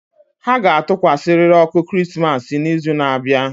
Ha ga-atụkwasịrịrị ọkụ Krismas n'izu na-abịa